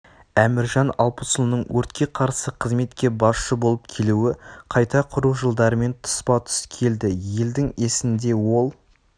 әміржан алпысұлының өртке қарсы қызметке басшы болып келуі қайта құру жылдарымен тұспа-тұс келді елдің есінде ол